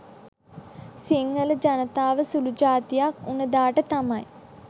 සිංහල ජනතාව සුළු ජාතියක් උන දාට තමයි